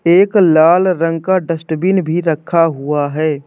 एक लाल रंग का डस्ट्बिन भी रखा हुआ है।